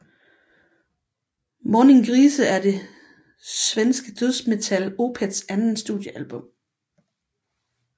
Morningrise er det svenske dødsmetalband Opeths andet studiealbum